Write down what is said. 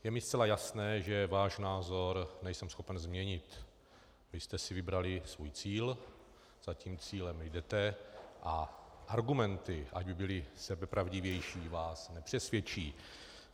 Je mi zcela jasné, že váš názor nejsem schopen změnit, vy jste si vybrali svůj cíl, za tím cílem jdete a argumenty, ať by byly sebepravdivější, vás nepřesvědčí.